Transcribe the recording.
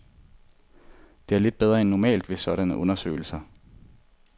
Det er lidt bedre end normalt ved sådanne undersøgelser.